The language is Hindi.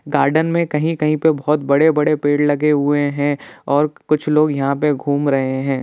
गार्डन में कहीं-कहीं पर बहुत बड़े-बड़े पेड़ लगे हुए हैं और कुछ लोग यहां पर घूम रहे हैं।